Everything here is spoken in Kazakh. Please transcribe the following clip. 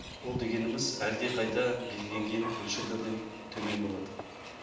ол дегеніміз әлдеқайда белгіленген мөлшерлерден төмен болады